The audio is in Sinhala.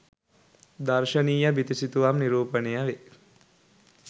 දර්ශනීය බිතු සිතුවම් නිරූපණය වේ